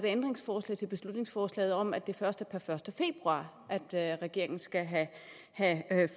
ændringsforslag til beslutningsforslaget om at det først er per første februar at regeringen skal have